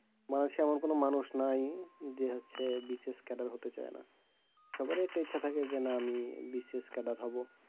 এমন কোনো মানুষ নাই যে হচ্ছে BCS হতে চায়না। সবারই একটা ইচ্ছা থাকে যে না আমি BCS হবো।